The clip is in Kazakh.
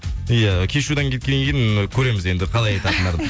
иә кешьюдан кеткеннен кейін көреміз енді қалай айтатындарын